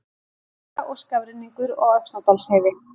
Hálka og skafrenningur á Öxnadalsheiði